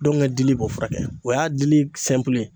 Dɔnkɛ dili b'o furakɛ, o y'a dili